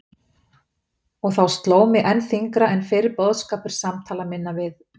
Og þá sló mig enn þyngra en fyrr boðskapur samtala minna við